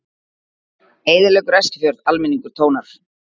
Eyðileggur Eskifjörð, almenningur tónar